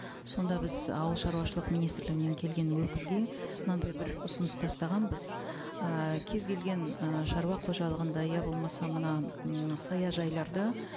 сонда біз ауылшаруашылық министрлігінен келген өкілге мынандай бір ұсыныс тастағанбыз ы кез келген ы шаруа қожалығында я болмаса мына м саяжайларда